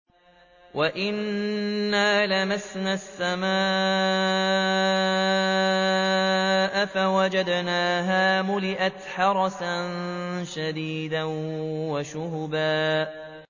وَأَنَّا لَمَسْنَا السَّمَاءَ فَوَجَدْنَاهَا مُلِئَتْ حَرَسًا شَدِيدًا وَشُهُبًا